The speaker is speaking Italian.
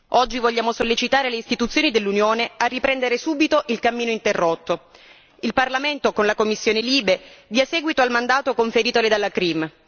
Oggi vogliamo sollecitare le istituzioni dell'Unione a riprendere subito il cammino interrotto il Parlamento, con la commissione LIBE, dia seguito al mandato conferitole dalla CRIM